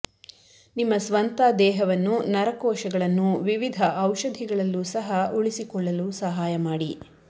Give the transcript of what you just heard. ನಿಮ್ಮ ಸ್ವಂತ ದೇಹವನ್ನು ನರ ಕೋಶಗಳನ್ನು ವಿವಿಧ ಔಷಧಿಗಳಲ್ಲೂ ಸಹ ಉಳಿಸಿಕೊಳ್ಳಲು ಸಹಾಯ ಮಾಡಿ